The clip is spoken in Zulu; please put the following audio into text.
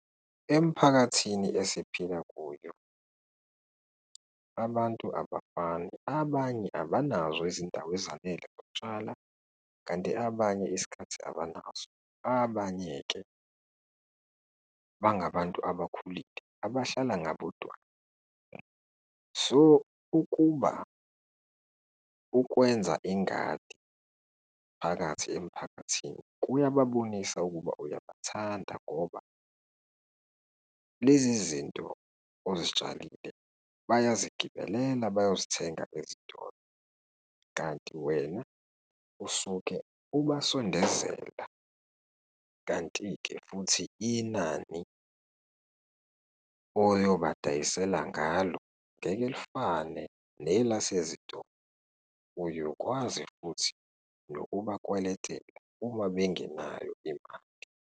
Emphakathini esiphila kuyo, abantu abafani, abanye abanazo izindawo ezanele zokutshala, kanti abanye isikhathi abanaso. Abanye-ke bangabantu abakhulile abahlala ngabodwana. So, ukuba ukwenza ingadi phakathi emphakathini kuyababonisa ukuba uyabathanda ngoba lezi zinto ozitshalile bayazigibelela, bayozithenga ezitolo, kanti wena usuke ubasondezela. Kanti-ke futhi inani oyobadayisela ngalo, ngeke lifane nelasezitolo, uyokwazi futhi nokubakweletela uma bengenayo imali.